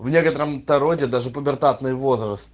в некотором то роде даже пубертатный возраст